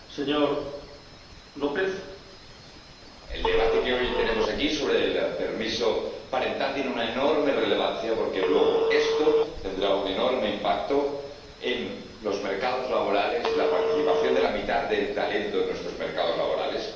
Señor Presidente, el debate que hoy tenemos aquí sobre el permiso parental tiene una enorme relevancia, porque luego esto tendrá un enorme impacto en los mercados laborales y en la participación de la mitad del talento en nuestros mercados laborales.